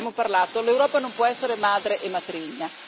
Ne abbiamo parlato, l'Europa non può essere madre e matrigna.